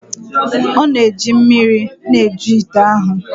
Ọ na-eji mmiri na-eju ite ahụ.